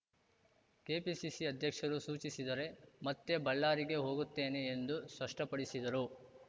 KPCC ಅಧ್ಯಕ್ಷರು ಸೂಚಿಸಿದರೆ ಮತ್ತೆ ಬಳ್ಳಾರಿಗೆ ಹೋಗುತ್ತೇನೆ ಎಂದು ಸ್ಪಷ್ಟಪಡಿಸಿದರು